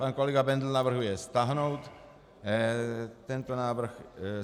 Pan kolega Bendl navrhuje stáhnout tento návrh.